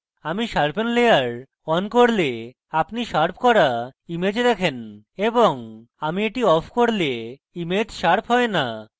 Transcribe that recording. আমি sharpen layer on করলে আপনি শার্প করা image দেখেন এবং আমি এটি off করলে image শার্প হয় না